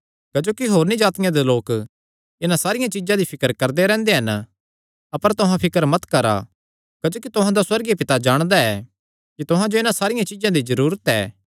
क्जोकि होरनी जातिआं दे लोक इन्हां सारियां चीज्जां दी फिकर करदे रैंह्दे हन अपर तुहां फिकर मत करा क्जोकि तुहां दा सुअर्गीय पिता जाणदा ऐ कि तुहां जो इन्हां सारिया चीज्जां दी जरूरत ऐ